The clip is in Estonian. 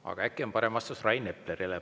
Aga äkki on parem vastus Rain Eplerile.